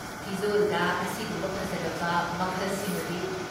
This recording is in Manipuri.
ꯐꯤꯖꯣꯜꯗ ꯑꯁꯤꯒꯨꯝꯕ ꯐꯖꯔꯕ ꯃꯈꯜꯁꯤꯃꯗꯤ!